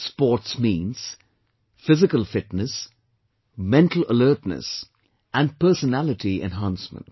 Sports means, physical fitness, mental alertness and personality enhancement